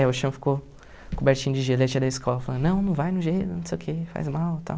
É, o chão ficou cobertinho de gelo e a tia da escola falando, não, não vai no gelo, não sei o que, faz mal e tal.